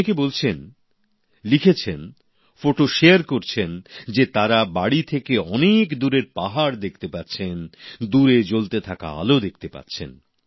অনেকে বলছেন লিখেছেন ফটো শেয়ার করছেন যে তারা বাড়ি থেকে অনেক দূরের পাহাড় দেখতে পাচ্ছেন দূরে জ্বলতে থাকা আলো দেখতে পাচ্ছেন